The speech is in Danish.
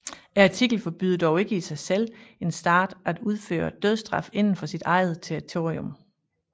Artiklen forbyder dog ikke i sig selv en stat at indføre dødsstraf inden for sit eget territorium